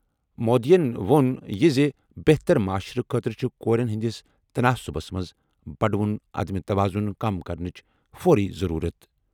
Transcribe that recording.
مودیَن ووٚن یہِ زِ بہتر معاشرٕ خٲطرٕ چھِ کورٮ۪ن ہٕنٛدِس تناسبس منٛز بڑوُن عدم توازن کم کرنٕچ فوری ضروٗرت۔